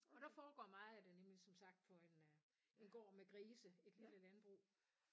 Og der foregår meget af det nemlig som sagt på en gård med grise et lille landbrug